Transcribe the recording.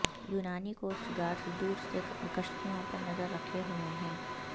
یونانی coast guards دور سے کشتیوں پر نظر رکھے ہوئے ہیں